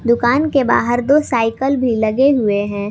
दुकान के बाहर दो साइकल भी लगे हुए हैं।